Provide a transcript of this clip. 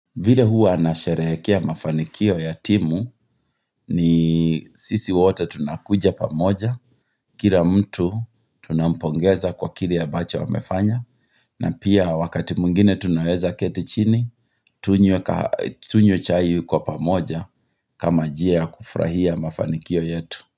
Vile huwa nasherehekea mafanikio ya timu ni sisi wote tunakuja pamoja, kila mtu tunampongeza kwa kile ya ambacho amefanya, na pia wakati mwingine tunaweza keti chini tunywe tunywe chai kwa pamoja kama njia ya kufurahia mafanikio yetu.